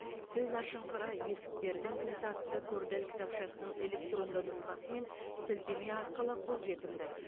сөз ашыңқыра есіктердің кілті атты кордель кітапшасының электронды нұсқасы мен сілтеме арқылы қолжетімді